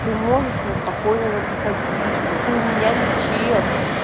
ты можешь мне спокойно написать в личку ты у меня не в чс